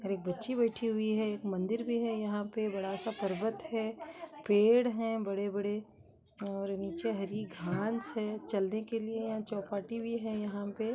और एक बच्ची बैठी हुई है एक मंदिर भी है यहाँ पे बड़ा सा पर्वत है पेड़ हैं बड़े बड़े नीचे हरी घास है चलने के लिए चोपाटी भी है यहाँ पे।